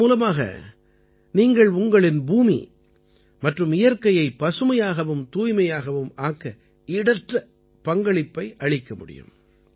இதன் மூலமாக நீங்கள் உங்களின் பூமி மற்றும் இயற்கையை பசுமையாகவும் தூய்மையாகவும் ஆக்க ஈடற்ற பங்களிப்பை அளிக்க முடியும்